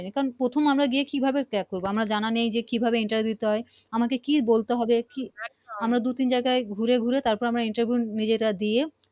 কারন আমরা প্রথম গিয়ে কি ভাবে crack করবো আমার জানা নেই কি ভাবে Interview দিতে হয় আমাকে কি বলতে বলতে হবে কি দু তিন জায়গায় ঘুরে ঘুরে তার পর আমরা Interview নিজেরা দিয়ে